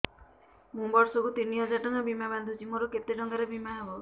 ମୁ ବର୍ଷ କୁ ତିନି ହଜାର ଟଙ୍କା ବୀମା ବାନ୍ଧୁଛି ମୋର କେତେ ଟଙ୍କାର ବୀମା ହବ